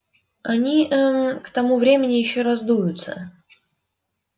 они ээ к тому времени ещё раздуются